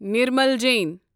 Nirmal Jain